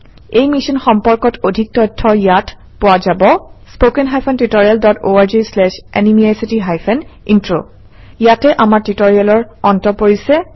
এই মিশ্যন সম্পৰ্কত অধিক তথ্য ইয়াত পোৱা যাব - 2 ইয়াতে আমাৰ টিউটৰিয়েলৰ অন্ত পৰিছে